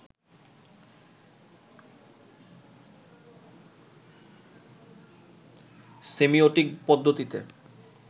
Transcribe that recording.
semiotic পদ্ধতিতে